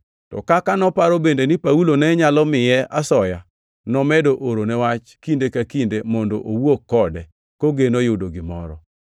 To kaka noparo bende ni Paulo ne nyalo miye asoya, nomedo orone wach kinde ka kinde mondo owuo kode, kogeno yudo gimoro.